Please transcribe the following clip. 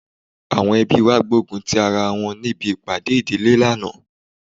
Àwọn ẹbí wa gbógun ti ara wọn níbi ìpàdé ìdílé lánàá